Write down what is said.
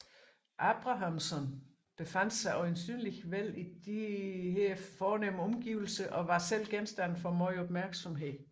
Abrahamson befandt sig øjensynlig vel i disse fornemme omgivelser og var selv genstand for megen opmærksomhed